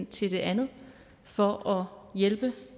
til et andet for hjælpe